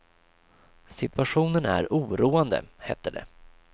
Situationen är oroande, hette det.